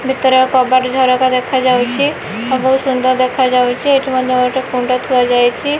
ଭିତରେ କବାଟ ଝରକା ଦେଖା ଯାଉଛି ଆଉ ବହୁତ ସୁନ୍ଦର ଦେଖାଯାଉଛି ଏଠି ମଧ୍ୟ ଗୋଟେ କୁଣ୍ଡ ଥୁଆ ଯାଇଛି।